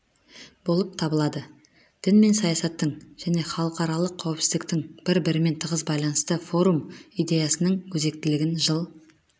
болып табылады дін мен саясаттың және халықаралық қауіпсіздіктің бір-бірімен тығыз байланысы форум идеясының өзектілігін жыл